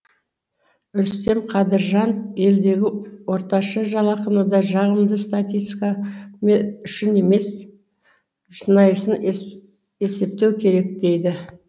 рүстем қадыржан елдегі орташа жалақыны да жағымды статистика ме үшін емес шынайысын ес есептеу керек дейді